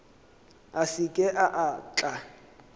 a se ke a tla